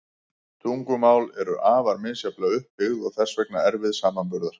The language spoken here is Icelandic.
Tungumál eru afar misjafnlega upp byggð og þess vegna erfið samanburðar.